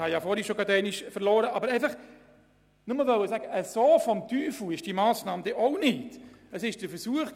Ich möchte einfach sagen, dass diese Massnahme sei nicht so sehr des Teufels ist.